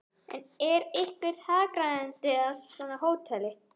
En er einhver hagræðing af svona hóteli?